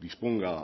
disponga